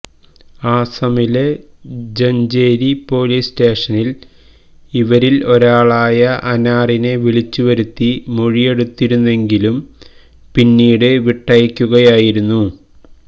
ആസമിലെ Jajeri police സ്റ്റേഷനില് ഇവരില് ഒരാളായ അനാറിനെ വിളിച്ചുവരുത്തി മൊഴിയെടുത്തിരുന്നെങ്കിലും പിന്നീട് വിട്ടയ്ക്കുകയായിരുന്നു